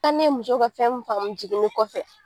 Aa ne ye muso ka fɛn mun faamu jiginni kɔfɛ